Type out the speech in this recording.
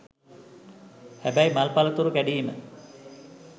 හැබැයි මල් පලතුරු කැඩීම